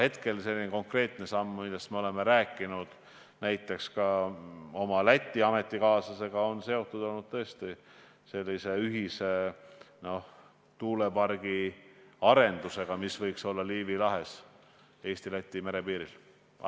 Hetkel selline konkreetne samm, millest me oleme rääkinud näiteks minu Läti ametikaaslasega, on seotud tõesti ühise tuulepargi arendusega, mis võiks olla Liivi lahes Eesti-Läti merepiiril.